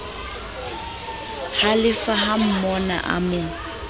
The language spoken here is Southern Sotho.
halefa ha monna a mo